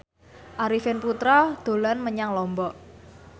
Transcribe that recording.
Arifin Putra dolan menyang Lombok